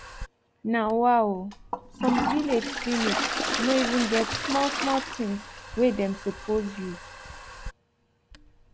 na wa o sum village clinic no even get small small tins wey dem suppose use